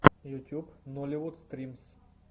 ютюб нолливуд стримс